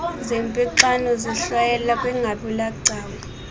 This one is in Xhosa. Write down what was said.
zernpixano zihlwayelwa kwingabulagcawu